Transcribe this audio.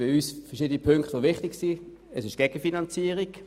Für uns sind verschiedene Punkte wichtig, einer davon ist die Gegenfinanzierung.